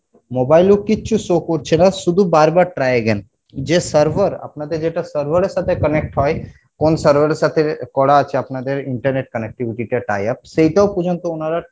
mobile এ কিচ্ছু show করছে না শুধু বারবার try again যে server আপনাদের যেটা server এর সাথে connect হয় কোন server এর সাথে করা আছে আপনাদের internet connectivity সেইটাও পর্যন্ত ওরা